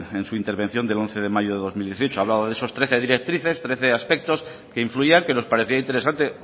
en su intervención del once de mayo de dos mil dieciocho hablaba de esas trece directrices trece aspectos que influían que nos parecía interesante